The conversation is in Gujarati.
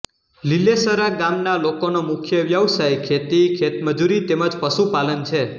લીલેસરા ગામના લોકોનો મુખ્ય વ્યવસાય ખેતી ખેતમજૂરી તેમ જ પશુપાલન છે